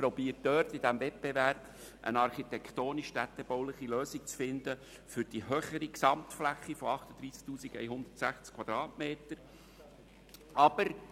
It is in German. Man versucht in diesem Wettbewerb eine architektonisch-städtebauliche Lösung für die höhere Gesamtfläche von 38 160 Quadratmetern zu finden.